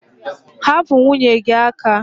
Hapụ nwunye gị aka!